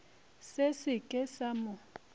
se se ke sa mo